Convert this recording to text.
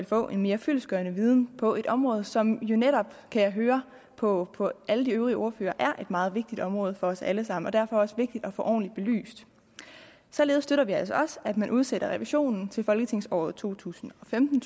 få en mere fyldestgørende viden på et område som jo netop kan jeg høre på på alle de øvrige ordførere er et meget vigtigt område for os alle sammen og derfor også vigtigt at få ordentligt belyst således støtter vi altså også at man udsætter revisionen til folketingsåret to tusind og femten